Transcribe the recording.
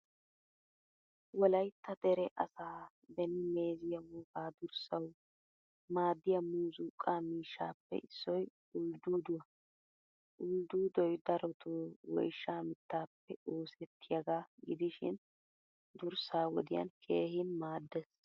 Wolyttaa dere asaa beeni meeziyaa wogaa durssawu maadiyaa muuzuqa miishshappe issoy uldduduwaa. Ulddudoy darotto woyshsha mittappe oosettiyaga gidishin durssa wodiyan keehin maaddees.